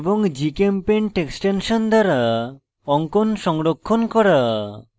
gchempaint extension দ্বারা অঙ্কন সংরক্ষণ করা